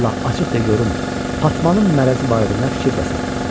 Sən Allah, açıq de görüm, Fatmanın mərəzi barədə nə fikirdəsən?